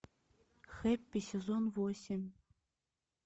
хэппи сезон восемь